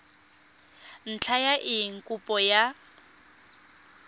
ntlha ya eng kopo ya